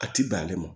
A ti bɛn ale ma